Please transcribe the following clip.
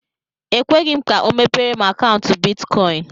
E kweghi m ka ọ mepere m akaụntu bịtkọin